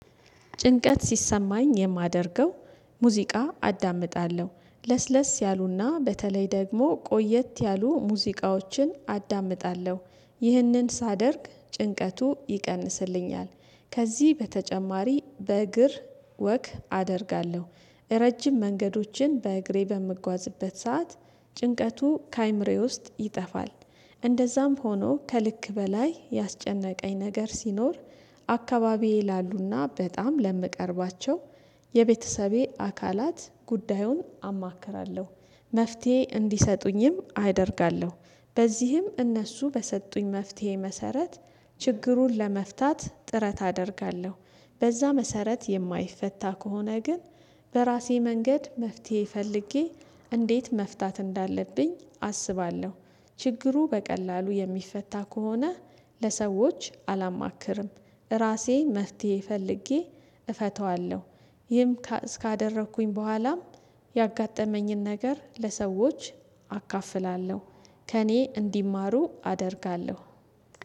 ጭንቀት ሲሰማኝ የማደርገው ሙዚቃ አዳምጣለሁ ለስለስ ያሉና በተለይ ደግሞ ቆየት ያሉ ሙዚቃዎችን አዳምጣለሁ ይህንን ሳደርግ ጭንቀቱ ይቀንስልኛል። ከዚህ በተጨማሪ በእግር ወክ አደርጋለሁ። እራ ረጅም መንገዶችን በእግሬ በምጓዝበት ሰዓት ጭንቀቱ ከአእምሬ ውስጥ ይጠፋል። እንደዛም ሆኖ ከልክ በላይ ያስጨነቀኝ ነገር ሲኖር አካባቢዬ ላሉና በጣም ለምቀርባቸው የቤተሰቤ አካላት ጉዳዩን አማክራለሁ። መፍትሄ እንዲሰጡኝም አደርጋለሁ በዚህም እነሱ በሰጡኝ መፍትሄ መሰረት ችግሩን ለመፍታት ጥረት አደርጋለሁ። በዛ መሰረት የማይፈታ ከሆነ ግን በራሴ መንገድ መፍትሄ ፈልጌ እንዴት መፍታት እንዳለብኝ አስባለሁ። ችግሩ በቀላሉ የሚፈታ ከሆነ ለሰዎች አላማክርም ራሴ መፍትሄ ፈልጌ እፈታዋለሁ። ይህም ካ እስካደረኩኝ በኋላም ያጋጠመኝን ነገር ለሰዎች አካፍላለሁ ከእኔ እንዲማሩ አደርጋለሁ